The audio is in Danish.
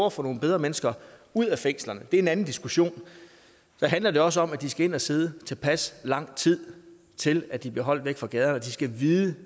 at få nogle bedre mennesker ud af fængslerne det er en anden diskussion så handler det også om at de skal ind at sidde i tilpas lang tid til at de bliver holdt væk fra gaderne de skal vide